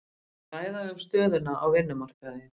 Ræða um stöðuna á vinnumarkaði